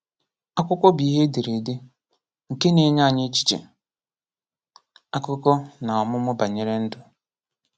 Akwụkwọ bụ ihe e dere ede, nke na-enye anyị echiche, akụkọ, na ọmụmụ banyere ndụ.